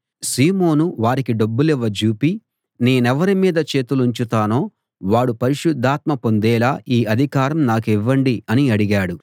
వారికి డబ్బులివ్వ జూపి నేనెవరి మీద చేతులుంచుతానో వాడు పరిశుద్ధాత్మ పొందేలా ఈ అధికారం నాకివ్వండి అని అడిగాడు